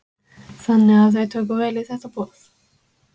Þannig að þau tóku vel í þetta boð?